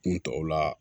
Kun tɔw la